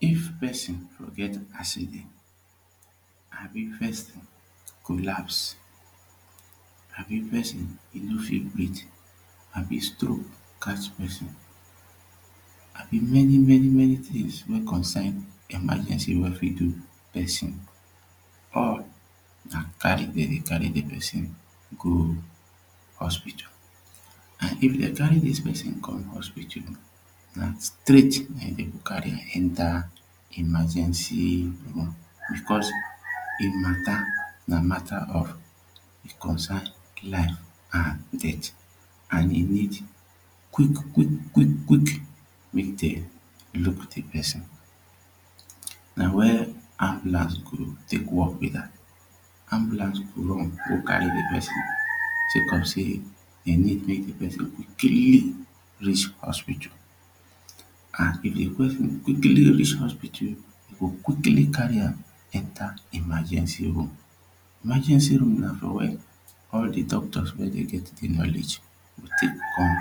If person for get accident abi person collapse abi person e no fit breath abi stroke catch person abi many many many things wey concern emergency wey fit do person or na carry dem dey carry de person go hospital and if dem carry this pesin come hospital na straight na him dem go carry am enter emergency room because him matter na matter of e concern life and death and e need quick quick quick quick make dey Look the person na wen ambulance go take work be that ambulance go run go carry the person sake of say e need make the person quickly reach hospital and if the person quickly reach hospital you go quickly carry am enter emagency room. Emergency room na for where all the doctors wey dey get the knowledge to take come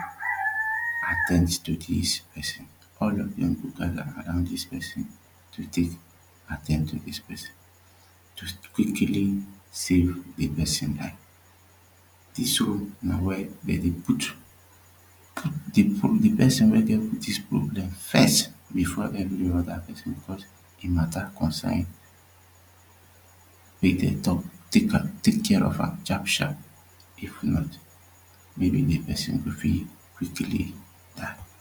at ten d to this person all of them go gather around this person to take at ten d to this person just to quickly safe a person life. This one na where dem dey put the person wey get this problem first before every other person because him matter concern wey dem talk make dem take care of am sharp sharp if not maybe the person go fit quickly die